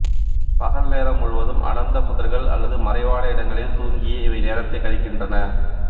பகல் நேரம் முழுவதும் அடர்ந்த புதர்கள் அல்லது மறைவான இடங்களில் தூங்கியே இவை நேரத்தை கழிக்கின்றன